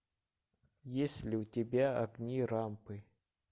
есть ли у тебя огни рампы